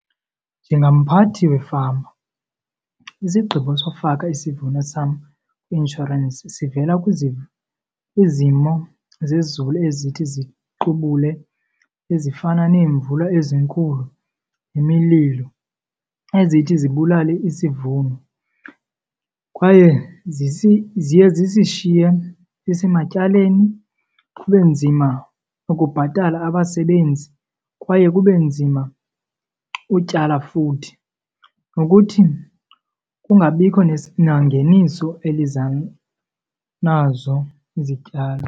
Njengamphathi wefama, isigqibo sowufaka isivuno sam kwi-inshorensi sivela kwizimo zezulu ezithi ziqubule, ezifana neemvula ezinkulu nemililo, ezithi zibulale isivuno. Kwaye ziye zisishiye sisematyaleni, kube nzima ukubhatala abasebenzi kwaye kube nzima utyala futhi nokuthi kungabikho nangeniso eliza nazo izityalo.